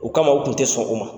U kama u tun tɛ sɔn o ma.